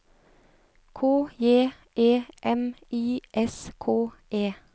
K J E M I S K E